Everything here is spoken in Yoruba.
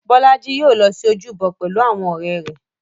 Bọ́lá í yóò lọ sí ojúbọ pẹ̀lú ọ̀rẹ́ rẹ̀.